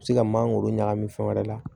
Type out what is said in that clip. U bɛ se ka mangoro ɲagami fɛn wɛrɛ la